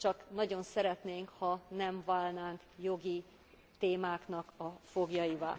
Csak nagyon szeretnénk, ha nem válnánk jogi témáknak a foglyaivá.